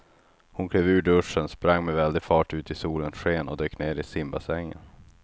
Hon klev ur duschen, sprang med väldig fart ut i solens sken och dök ner i simbassängen.